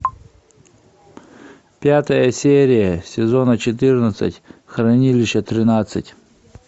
пятая серия сезона четырнадцать хранилище тринадцать